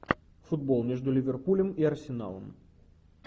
футбол между ливерпулем и арсеналом